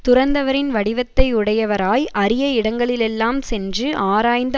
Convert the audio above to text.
துறந்தவரின் வடிவத்தை உடையவராய் அறிய இடங்களிலெல்லாம் சென்று ஆராய்ந்து